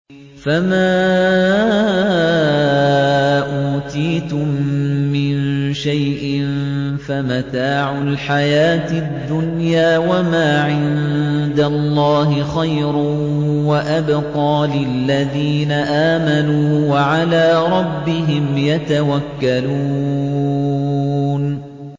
فَمَا أُوتِيتُم مِّن شَيْءٍ فَمَتَاعُ الْحَيَاةِ الدُّنْيَا ۖ وَمَا عِندَ اللَّهِ خَيْرٌ وَأَبْقَىٰ لِلَّذِينَ آمَنُوا وَعَلَىٰ رَبِّهِمْ يَتَوَكَّلُونَ